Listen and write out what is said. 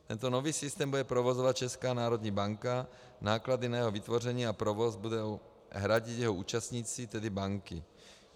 Tento nový systém bude provozovat Česká národní banka, náklady na jeho vytvoření a provoz budou hradit jeho účastníci, tedy banky.